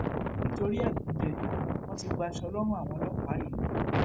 nítorí ẹgúnjẹ wọn ti gbaṣọ lọrùn àwọn ọlọpàá yìí